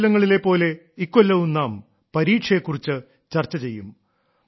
മുൻ കൊല്ലങ്ങളിലെ പോലെ ഇക്കൊല്ലവും നാം പരീക്ഷയെ കുറിച്ച് ചർച്ച ചെയ്യും